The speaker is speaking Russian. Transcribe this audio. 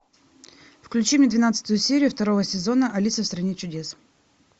включи мне двенадцатую серию второго сезона алиса в стране чудес